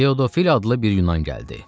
Pedofil adlı bir Yunan gəldi.